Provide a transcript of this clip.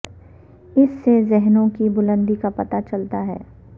اس سے ذہنوں کی بلندی کا پتا چلتا ہے